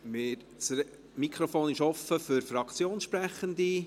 Das Mikrofon ist offen für Fraktionssprechende.